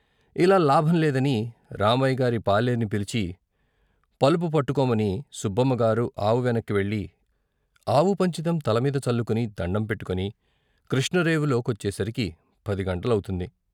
ఇలా లాభంలేదని రామయ్యగారి పాలేర్ని పిలిచి పలుపు పట్టుకోమని సుబ్బమ్మగారు ఆవు వెనక్కు వెళ్ళి ఆవు పంచితం తలమీద చల్లుకుని దణ్ణం పెట్టుకొని కృష్ణ రేపులో కొచ్చేసరికి పదిగంటలవుతుంది.